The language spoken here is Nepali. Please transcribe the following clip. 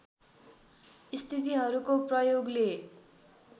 स्थितिहरूको प्रयोगले